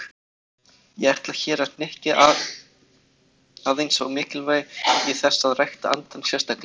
Ég ætla hér að hnykkja aðeins á mikilvægi þess að rækta andann sérstaklega.